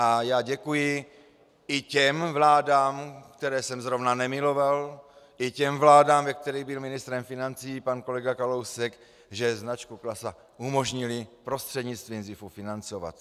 A já děkuji i těm vládám, které jsem zrovna nemiloval, i těm vládám, ve kterých byl ministrem financí pan kolega Kalousek, že značku Klasa umožnili prostřednictvím ZIFu financovat.